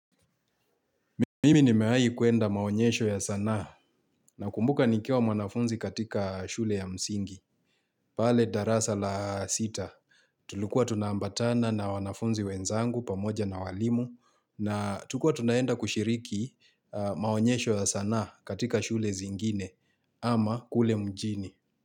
Mimi nimewai kuenda maonyesho ya sanaa na kumbuka nikiwa mwanafunzi katika shule ya msingi. Pale darasa la sita tulikua tuna ambatana na wanafunzi wenzangu pamoja na walimu na tukua tunaenda kushiriki maonyesho ya sanaa katika shule zingine ama kule mjini.